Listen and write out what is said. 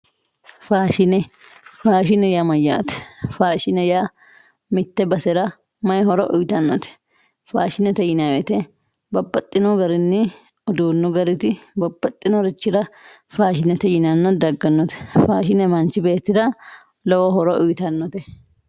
Faashine, faashine yaa mayyate, faashine yaa mite basera maayi horo uyittanote, faashinete yinanni woyte babbaxxino garinni uduunu gariti babbaxxinorichi faashinete yinanna dagganote faashine manchi beettira lowo horo uyittanote.